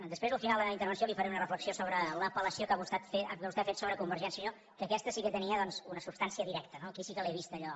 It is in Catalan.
després al final de la meva intervenció li faré una reflexió sobre l’apel·lació que vostè ha fet sobre convergència i unió que aquesta sí que tenia doncs una substància directa no aquí sí que l’he vist allò